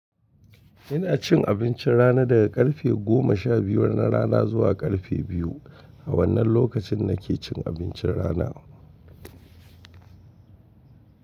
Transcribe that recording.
Ina cin abincin rana daga karfe goma sha biyar na rana zuwa karfe biyu. A wannan lokacin na ke cin abincin rana.